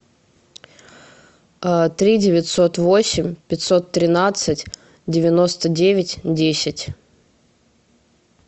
три девятьсот восемь пятьсот тринадцать девяносто девять десять